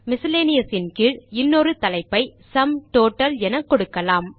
miscellaneous இன் கீழ் இன்னொரு தலைப்பை சும் டோட்டல் என கொடுக்கலாம்